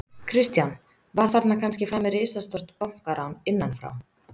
Kristján: Var þarna kannski framið risastórt bankarán, innanfrá?